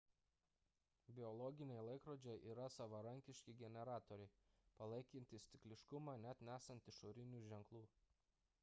biologiniai laikrodžiai yra savarankiški generatoriai palaikantys cikliškumą net nesant išorinių ženklų